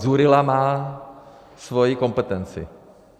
Dzurilla má svoji kompetenci.